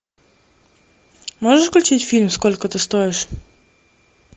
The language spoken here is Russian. можешь включить фильм сколько ты стоишь